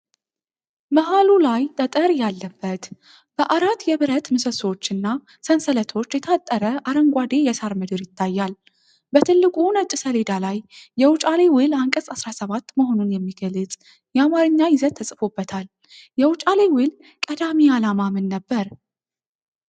መሀሉ ላይ ጠጠር ያለበት፣ በአራት የብረት ምሰሶዎችና ሰንሰለቶች የታጠረ አረንጓዴ የሳር ምድር ይታያል፤ በትልቁ ነጭ ሰሌዳ ላይ የውጫሌ ውል አንቀጽ 17 መሆኑን የሚገልጽ የአማርኛ ይዘት ተጽፎበታል፤ የውጫሌ ውል ቀዳሚ ዓላማ ምን ነበር?